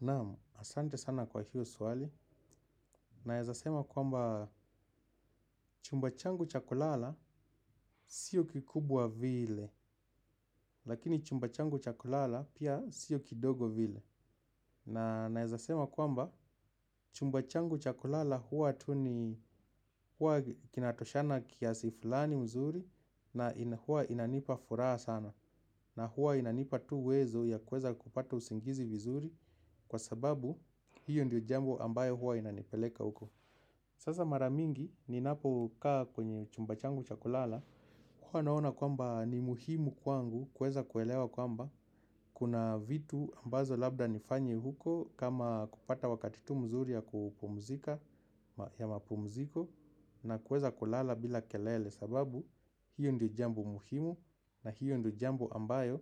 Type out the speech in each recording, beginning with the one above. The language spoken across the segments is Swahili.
Namu, asante sana kwa hiyo suwali. Naezasema kwamba chumba changu cha kulala siyo kikubwa vile. Lakini chumbachangu chakulala pia siyo kidogo vile. Naezasema kwamba chumba changu chakulala hua tu ni hua kinatoshana kiasi fulani mzuri na hua inanipa furaha sana. Na hua inanipa tu uwezo yakweza kupata usingizi vizuri kwa sababu hiyo ndiyo jambo ambayo hua inanipeleka uko. Sasa maramingi ninapo kaa kwenye chumba changu cha kulala, kwa naona kwamba ni muhimu kwangu kweza kuelewa kwamba, kuna vitu ambazo labda nifanye huko kama kupata wakati tu mzuri ya kupumzika ya mapumziko na kweza kulala bila kelele sababu, hiyo ndiyo jambo muhimu na hiyo ndiyo jambo ambayo,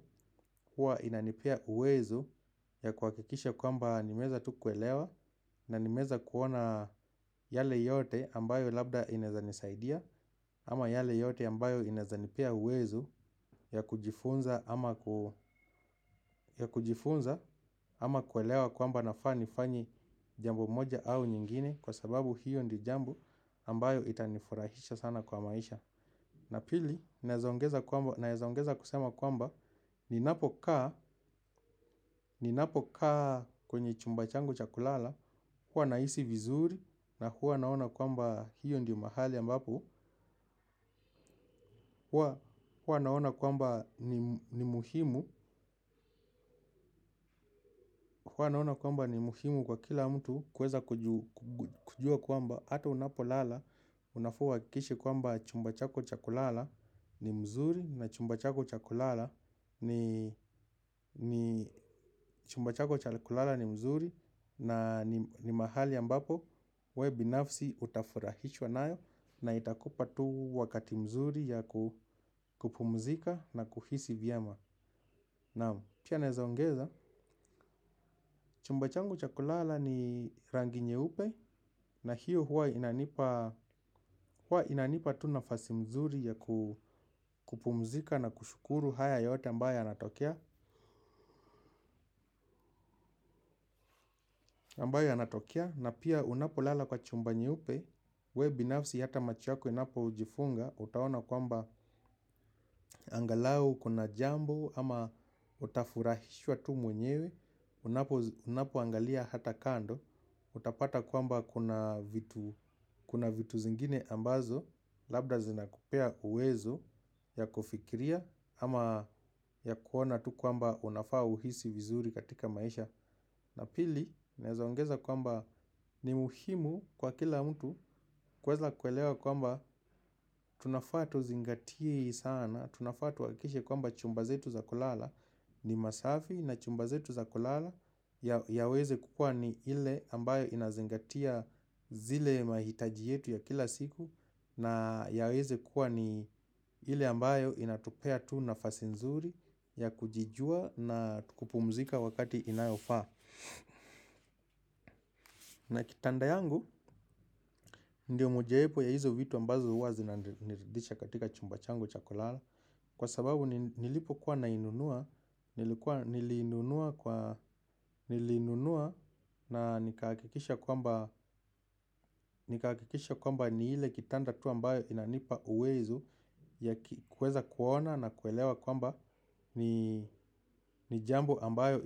huwa inanipea uwezo ya kwakikisha kwamba nimeza tu kuelewa na nimeza kuona yale yote ambayo labda inezanisaidia. Ama yale yote ambayo inezanipea uwezo ya kujifunza ama kuelewa kwamba nafa ni fanye jambo moja au nyingine. Kwa sababu hiyo ndiyo jambo ambayo itanifurahisha sana kwa maisha. Na pili, naezaongeza kusema kwamba, ni napo kaa kwenye chumba changu chakulala, hua naisi vizuri na hua naona kwamba hiyo ndiyo mahali ambapo. Huwa naona kwamba ni muhimu kwa kila mtu kweza kujua kwamba. Hato unapo lala, unafa uwakikishe kwamba chumba chako chakulala ni mzuri na chumbachako chakulala ni mzuri na ni mahali ambapo we binafsi utafurahishwa nayo na itakupa tu wakati mzuri ya kupumzika na kuhisi viyema. Na pia naezoongeza chumba changu cha kulala ni rangi nye upe na hiyo huwa inanipa tu nafasi mzuri ya kupumzika na kushukuru haya yote ambayo anatokea ambayo yanatokea na pia unapo lala kwa chumba nye upe we binafsi hata macho yako inapojifunga. Utaona kwamba angalau kuna jambo ama utafurahishwa tu mwenyewe. Unapo angalia hata kando utapata kwamba kuna vitu zingine ambazo labda zinakupea uwezo ya kufikiria ama ya kuona tu kwamba unafaa uhisi vizuri katika maisha. Na pili, nezaongeza kwamba ni muhimu kwa kila mtu. Kweza kwelewa kwamba tunafa tuzingatie sana, tunafa tuwakishe kwamba chumba zetu za kulala ni masafi na chumbazetu za kulala yaweze kukua ni ile ambayo inazingatia zile mahitaji yetu ya kila siku. Na yaweze kukua ni ile ambayo inatupea tu nafasi nzuri ya kujijua na kupumzika wakati inayofa. Na kitanda yangu ndio mojepo ya hizo vitu ambazo uwa zinaniridisha katika chumba changu cha kulala. Kwa sababu nilipokuwa nainunua nilinunua na nikakikisha kwamba ni ile kitanda tu ambayo inanipa uwezo. Kweza kuona na kuelewa kwamba ni jambo ambayo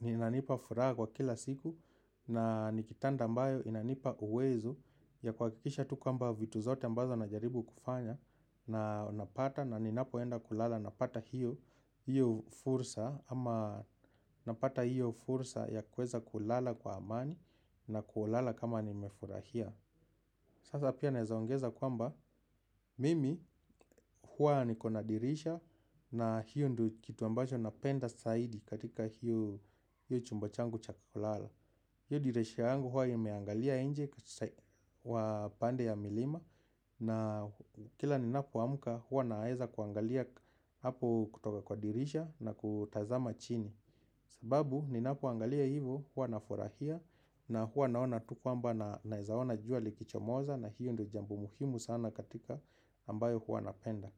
inanipa fura kwa kila siku. Na ni kitanda ambayo inanipa uwezo ya kuhakikisha tu kwamba vitu zote ambazo najaribu kufanya. Na napata na ninapoenda kulala napata hiyo fursa. Ama napata hiyo fursa ya kuweza kulala kwa amani na kulala kama nimefurahia. Sasa pia naeza ongeza kwamba mimi huwa niko na dirisha na hiyo kitu ambacho napenda saidi katika hiyo chumba changu cha kulala hii dirisha yangu huwa imeangalia nje kwa upande ya milima na kila ninapoamka huwa naeza kuangalia hapo kutoka kwa dirisha na kutazama chini. Sababu ninapoangalia hivo huwa nafurahia na huwa naona tu kwamba naeza ona jua likichomoza na hiyo ndo jambo muhimu sana katika ambayo huwa napenda.